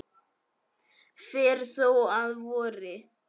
fer þó að vori.